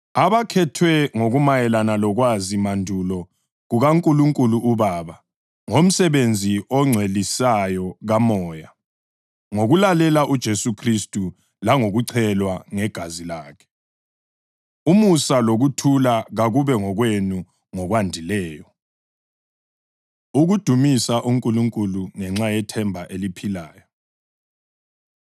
abakhethwe ngokumayelana lokwazi mandulo kukaNkulunkulu uBaba, ngomsebenzi ongcwelisayo kaMoya, ngokulalela uJesu Khristu langokuchelwa ngegazi lakhe: Umusa lokuthula kakube ngokwenu ngokwandileyo. Ukudumisa UNkulunkulu Ngenxa Yethemba Eliphilayo